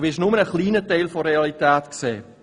Du wirst nur einen kleinen Teil der Realität sehen.